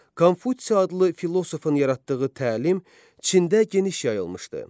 Konfutsi adlı filosofun yaratdığı təlim Çində geniş yayılmışdı.